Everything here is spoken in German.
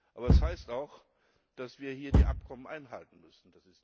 Aber das heißt auch, dass wir hier die Abkommen einhalten müssen.